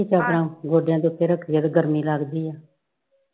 ਗੋਡਿਆਂ ਦੇ ਉਪਰ ਰੱਖੀਏ ਤੇ ਗਰਮੀ ਲੱਗਦੀ